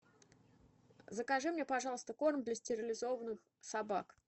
закажи мне пожалуйста корм для стерилизованных собак